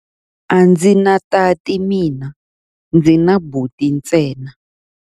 A ndzi na tati mina, ndzi na buti ntsena.